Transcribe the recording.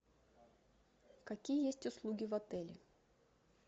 какие есть услуги в отеле